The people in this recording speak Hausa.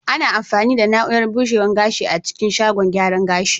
Ana amfani da na'urar bushewa gashi a cikin shagon gyara gashi.